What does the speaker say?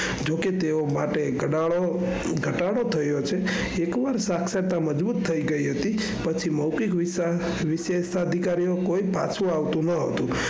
જોકે તેઓ માટે ઘટાડો થયો છે એકવાર સાક્ષાત મજબૂત થઇ ગયી હતી પછી મૌખિત વિસેસ્તા અધિકારીઓ કોઈ પાછું આવતું નાવતુ.